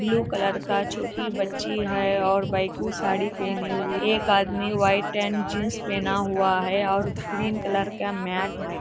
blue colour का छोटी बच्ची है और भाई को साड़ी पहनी हुई एक आदमी व्हाइट एंड जींस पहना हुआ है और ग्रीन कलर का मैच है|